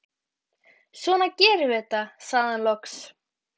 Svona gerum við þetta, sagði hann loks.